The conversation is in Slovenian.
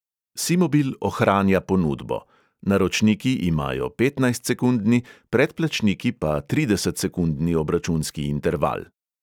SÍmobIl ohranja ponudbo: naročniki imajo petnajstsekundni, predplačniki pa tridesetsekundni obračunski interval.